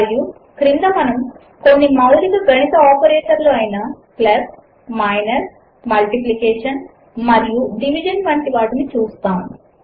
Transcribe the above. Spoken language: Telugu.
మరియు క్రింద మనము కొన్ని మౌలిక గణిత ఆపరేటర్లు అయిన ప్లస్ మైనస్ మల్టిప్లికేషన్ మరియు డివిజన్ వంటి వాటిని చూస్తాము